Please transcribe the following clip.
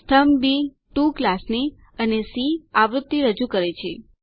સ્તંભ બી ટીઓ ક્લાસની અને સી આવૃત્તિ રજૂ કરે છે